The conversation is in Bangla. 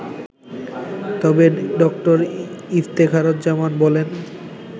তবে ড. ইফতেখারুজ্জামান বলেন